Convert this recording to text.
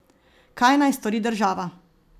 Kaj naj stori država?